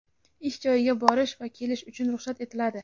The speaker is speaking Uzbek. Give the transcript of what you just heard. ish joyiga borish va kelish uchun ruxsat etiladi.